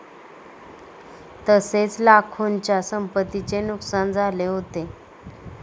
तसेच लाखोंच्या संपत्तीचे नुकसान झाले होते.